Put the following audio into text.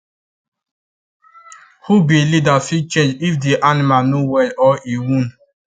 who be leader fit change if the animal no well or e wound